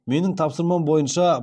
менің тапсырмам бойынша